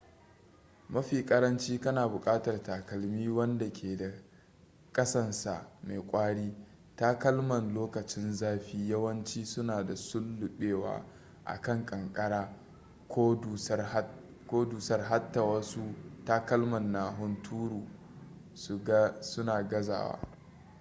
mafi karanci kana bukatar takalmi wanda ke da kasansa mai kwari takalman lokacin zafi yawanci su na sullubewa a kan kankara ko dusarta hatta wasu takalman na hunturu su na gazawa